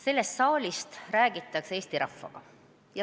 Sellest saalist räägitakse Eesti rahvaga.